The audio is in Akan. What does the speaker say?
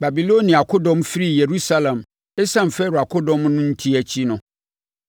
Babilonia akodɔm firii Yerusalem, ɛsiane Farao akodɔm no enti akyi no,